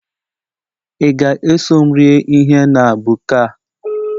Ị ga-eso m rie ihe na buka a?